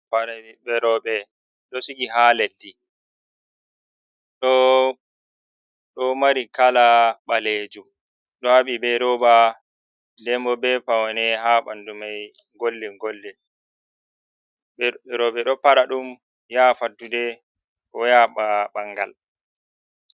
Paɗe ɓeɓɓe roɓe, ɗo sigi ha leddi, ɗoo ɗo mari kala ɓalejum, ɗo haɓɓi be rooba dem bo be pawne ha bandu mai gwaldin gwaldin, roɓe ɗo paɗa ɗum ya fattude ko ya ɓa ɓangal.